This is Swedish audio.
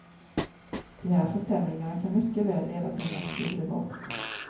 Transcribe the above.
De här försämringarna kan mycket väl leda till en massiv revolt.